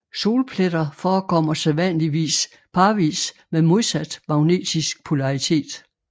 Solpletter forekommer sædvanligvis parvis med modsat magnetisk polaritet